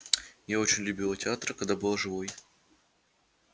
я очень любила театр когда была живой